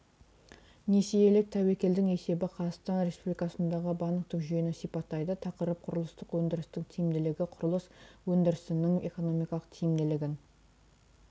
несиелік тәуекелдің есебі қазақстан республикасындағы банктік жүйені сипаттайды тақырып құрылыстық өндірістің тиімділігі құрылыс өндірісінің экономикалық тиімділігін